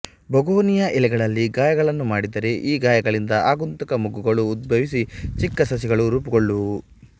begonia ಎಲೆಗಳಲ್ಲಿ ಗಾಯಗಳನ್ನು ಮಾಡಿದರೆ ಈ ಗಾಯಗಳಿಂದ ಆಗುಂತುಕ ಮೊಗ್ಗುಗಳು ಉದ್ಭವಿಸಿ ಚಿಕ್ಕ ಸಸಿಗಳು ರೂಪುಗೊಳ್ಳುವುವು